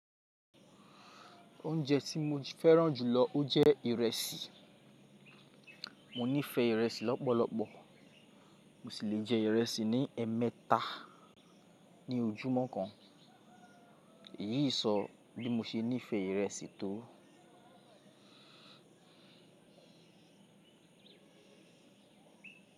Oúnjẹ tí mo fẹ́ràn jùlọ o jẹ́ ìrẹsì. Mo nífẹ̀ẹ́ ìrẹsì lọ́pọ̀lọpọ̀, mo sì le jẹ ìrẹsì ní ẹmẹ́ta ní ojúmọ́ kan. Èyí sọ bí mo se nífẹ̀ẹ́ ìrẹsì tó.